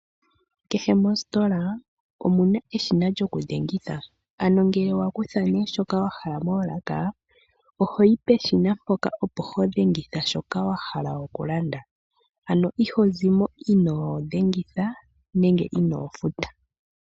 Kehe mositola omuna eshina lyokudhengitha, ngele wakutha shoka wahala moolaka ohoyi peshina mpoka wuna okudhengitha shoka wahala oku landa. Ito vulu oku zamo ino futa.